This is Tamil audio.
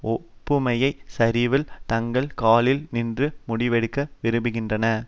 ஒப்புமைச் சரிவில் தங்கள் காலில் நின்று முடிவெடுக்க விரும்புகின்றன